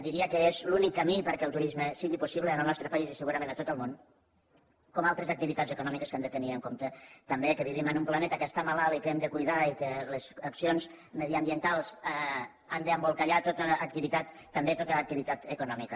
diria que és l’únic camí perquè el turisme sigui possible en el nostre país i segurament a tot el món com altres activitats econòmiques que han de tenir en compte també que vivim en un planeta que està malalt i que hem de cuidar i que les accions mediambientals han d’embolcallar tota l’activitat també tota activitat econòmica